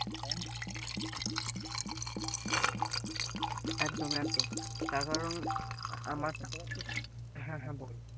একদম একদম তার কারন আমরা হ্যাঁ হ্যাঁ বল।